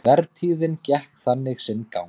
Vertíðin gekk þannig sinn gang.